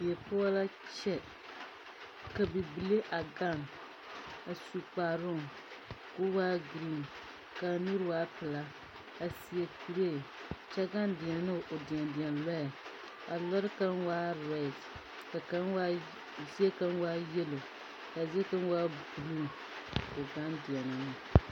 Die poͻ laa kyԑ, ka bibile a gaŋe a su kparoo koo waa giriiŋ kaa nuuri waa pelaa, a seԑ kuree kyԑ gaŋe deԑne ne o deԑdenlͻͻ. A lͻͻre kaŋa waa orԑԑde ka kaŋa waa zie kaŋa waa yelo ka a zie kaŋa waa buluu koo gaŋe deԑnԑ ne.